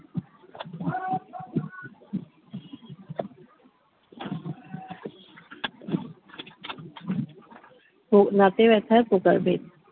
ও দাঁতে ব্যথার প্রকারভেদ